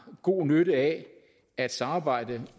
god nytte af at samarbejde